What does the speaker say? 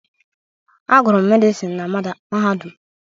Agụrụ m Medịsinu na Mahadum.